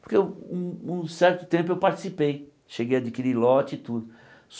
Porque um um certo tempo eu participei, cheguei a adquirir lote e tudo.